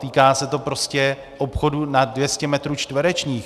Týká se to prostě obchodů nad 200 metrů čtverečních.